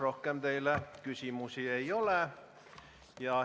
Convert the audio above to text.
Rohkem teile küsimusi ei ole.